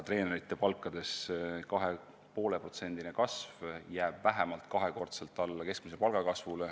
Treenerite palkade 2,5%-line kasv jääb vähemalt kahekordselt alla keskmise palga kasvule.